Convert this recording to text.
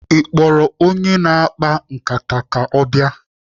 Ị kpọrọ onye na-akpa nkata ka ọ bịa?